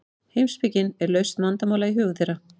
heimspekin er lausn vandamála í hugum þeirra